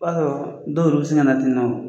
Ba sɔrɔ dɔw yɛrɛw bɛ sin ka na ten nɔ